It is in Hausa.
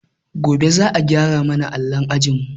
Gobe za a gyara ma na allon ajinmu.